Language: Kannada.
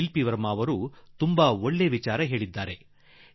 ಶಿಲ್ಪ ವರ್ಮಾ ಒಂದು ಒಳ್ಳೆಯ ವಿಚಾರವನ್ನು ನನ್ನ ಗಮನಕ್ಕೆ ತಂದಿದ್ದಾರೆ